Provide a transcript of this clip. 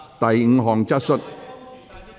第五項質詢。